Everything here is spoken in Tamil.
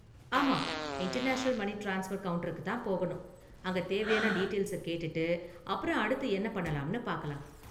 ஆமா, இன்டர்நேஷனல் மனி ட்ரான்ஸ்பர் கவுண்டருக்கு தான் போகணும், அங்க தேவையான டீடெயில்ஸ கேட்டுட்டு அப்பறம் அடுத்து என்ன பண்ணலாம்னு பார்க்கலாம்.